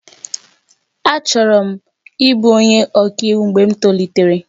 Achọrọ m ịbụ onye ọka iwu mgbe m tolitere